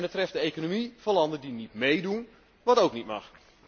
En het treft de economie van landen die niet meedoen wat ook niet mag.